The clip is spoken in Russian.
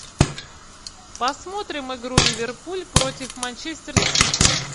посмотрим игру ливерпуль против манчестер сити